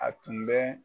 A tun bɛ